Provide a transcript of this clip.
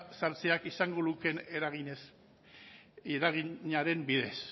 sartzeak izango lukeen eraginaren bidez